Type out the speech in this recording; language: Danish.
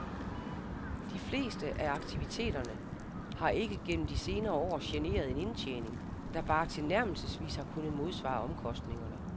De fleste af aktiviteterne har ikke gennem de senere år genereret en indtjening, der bare tilnærmelsesvis har kunnet modsvare omkostningerne.